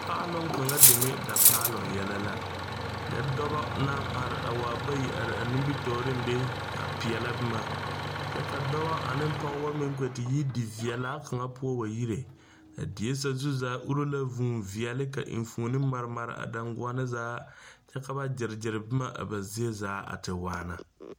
Paaloŋ kaŋa deme dapaaloŋ yele la nyɛ dɔba naŋ are a waa bayi a nimitɔreŋ be a peɛla boma, kyɛ ka dɔba ane pɔgeba meŋ kpɛ te yi diveɛlaa kaŋa poɔ wa yire a die sazu zaa uri la vʋʋ veɛlɛ ka enfuoni mare mare a dangɔnne zaa kyɛ ka ba gyɛre gyɛre boma a ba zie zaa a te waana.